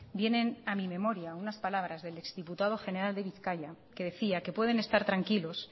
vienen a mi memoria unas palabras del exdiputado general de bizkaia que decía que pueden estar tranquilos